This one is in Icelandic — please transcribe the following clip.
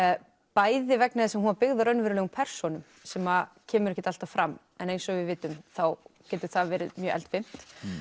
bæði vegna þess að hún var byggð á raunverulegum persónum sem kemur ekkert alltaf fram en eins og við vitum getur það verið mjög eldfimt